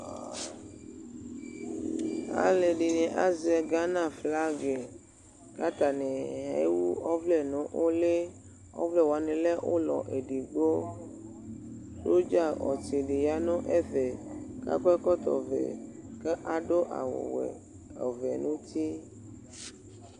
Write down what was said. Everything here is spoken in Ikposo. Alʋedɩni azɛ gana flagɩ kʋ atanɩ ewu ɔvlɛ nʋ ʋlɩ Ɔvlɛ wanɩ lɛ ʋlɔ edigbo Ʋdzaɔtsɩ dɩ ya nʋ ɛfɛ, kʋ akɔ ɛkɔtɔvɛ kʋ adʋwɛ, ɔvɛ nʋ uti